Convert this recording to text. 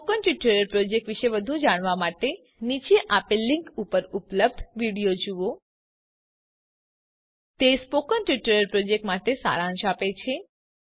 spoken tutorial project વિષે વધુ જાણવા માટે નીચે આપેલ લીંક ઉપર ઉપલબ્ધ વિડીઓ જુઓ httpspoken tutorialorgWhat is a Spoken Tutorial તે સ્પોકન ટ્યુટોરીયલ પ્રોજેક્ટ માટે સારાંશ આપે છે